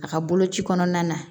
A ka boloci kɔnɔna na